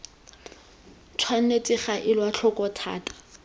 tshwanetse ga elwa tlhoko thata